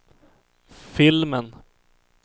filmen